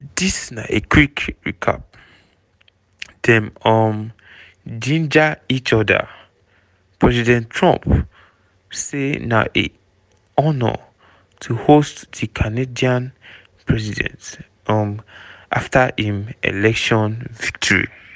dis na a quick recap: dem um ginger each oda:president trump say na "honour" to host di canadian prime minister um afta im election victory.